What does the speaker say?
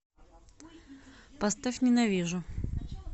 поставь ненавижу